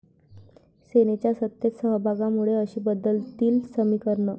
सेनेच्या सत्तेत सहभागामुळे अशी बदलतील समीकरणं